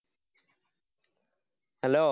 hello